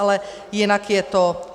Ale jinak je to: